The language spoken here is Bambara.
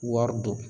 Wari don